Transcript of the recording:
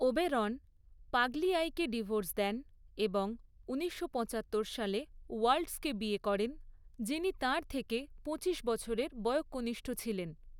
Oberon পাগলিয়াইকে divorce দেন, এবং উনিশশো পচাত্তর সালে ওল্ডার্সকে বিয়ে করেন, যিনি তাঁর থেকে পঁচিশ বছরের বয়ঃকনিষ্ঠ ছিলেন।